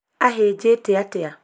ahĩnjĩte atĩa?